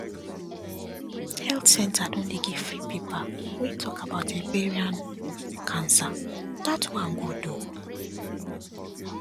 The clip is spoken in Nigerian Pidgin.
health centre don dey give free paper wey talk about ovarian cancer that one good ooo